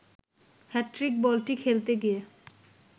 hat trick বলটি খেলতে গিয়ে